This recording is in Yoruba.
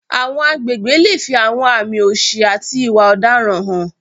Àwọn agbègbè lè fi àwọn àmì òṣì àti ìwà ọ̀daràn hàn.